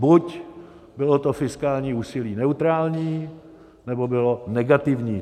Buď bylo to fiskální úsilí neutrální, nebo bylo negativní.